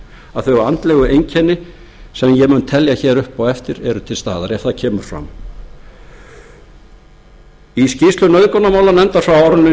að þau andlegu einkenni sem ég mun telja hér upp á eftir eru til staðar ef það kemur fram í skýrslu nauðgunarmálanefndar frá nítján hundruð